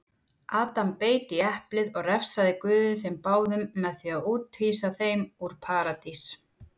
Adam beit í eplið og refsaði guð þeim báðum með því úthýsa þeim úr paradís.